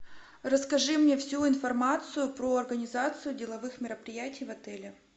расскажи мне всю информацию про организацию деловых мероприятий в отеле